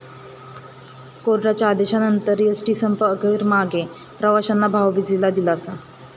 कोर्टाच्या आदेशानंतर एसटीचा संप अखेर मागे, प्रवाशांना भाऊबिजेला दिलासा